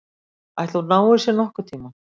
Ætli hún nái sér nokkurntíma?